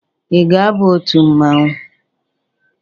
Ị ga-aba otu mmanwụ?